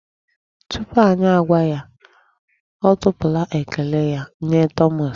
Tupu anyị agwa ya, ọ tụpụla ekele nye Thomas.